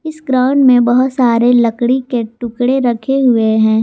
Ground में बहोत सारे लकड़ी के टुकड़े रखे हुए हैं।